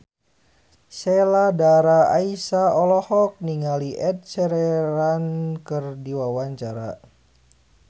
Sheila Dara Aisha olohok ningali Ed Sheeran keur diwawancara